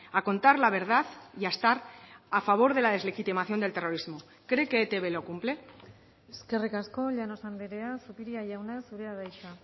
a contar la verdad y a estar a favor de la deslegitimación del terrorismo cree que etb lo cumple eskerrik asko llanos andrea zupiria jauna zurea da hitza